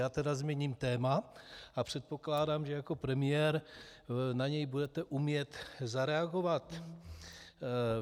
Já tedy změním téma a předpokládám, že jako premiér na něj budete umět zareagovat.